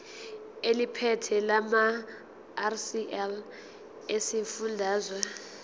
eliphethe lamarcl esifundazwe